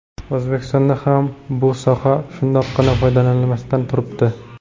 O‘zbekistonda ham bu soha shundoqqina foydalanilmasdan turibdi.